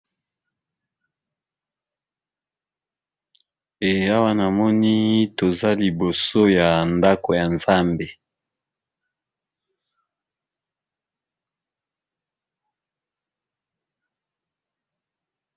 Awa namoni ,toza liboso ya ndaku ya nzambe